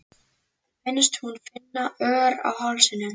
Finnst hún finna ör á hálsinum.